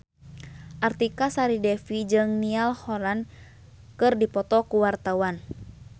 Artika Sari Devi jeung Niall Horran keur dipoto ku wartawan